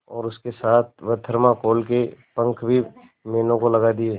और उसके साथ वह थर्माकोल के पंख भी मीनू को लगा दिए